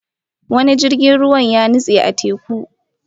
Wani jirgin ruwa ya nutse a teku